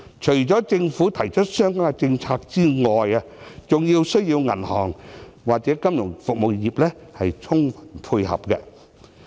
除了政府提出相關的政策外，亦需要銀行或金融服務業配合。